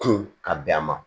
Kun ka bɛn a ma